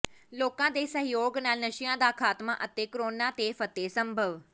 ਲੋਕਾਂ ਦੇ ਸਹਿਯੋਗ ਨਾਲ ਨਸ਼ਿਆਂ ਦਾ ਖਾਤਮਾ ਅਤੇ ਕੋਰੋਨਾ ਤੇ ਫਤਿਹ ਸੰਭਵ